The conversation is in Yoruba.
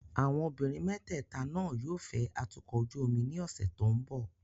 Àwọn obìnrin mẹ́tẹ̀ẹ̀ta náà yóò fẹ́ atukọ̀ ojú omi ní ọ̀sẹ̀ tó ń bọ̀.